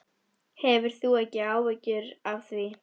Hefur þú ekki áhyggjur af því?